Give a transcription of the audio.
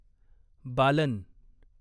Balan